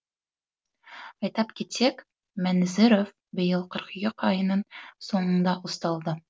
айтып кетсек мәнізоров биыл қыркүйек айының соңында ұсталды